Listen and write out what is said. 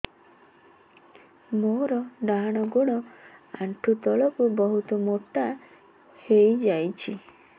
ମୋର ଡାହାଣ ଗୋଡ଼ ଆଣ୍ଠୁ ତଳକୁ ବହୁତ ମୋଟା ହେଇଯାଉଛି